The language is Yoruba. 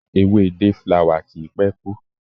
Ewé day flower kì í pé kú.